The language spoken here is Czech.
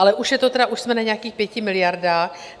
Ale už jsme na nějakých 5 miliardách.